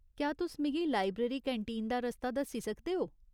क्या तुस मिगी लाइब्रेरी कैंटीन दा रस्ता दस्सी सकदे ओ ?